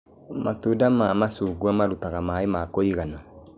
Matunda ma macungwa marũtaga maĩ ma kũigana